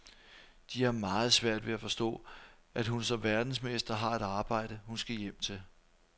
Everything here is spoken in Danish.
De har meget svært ved at forstå, at hun som verdensmester har et arbejde, hun skal hjem til.